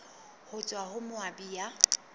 ho tswa ho moabi ya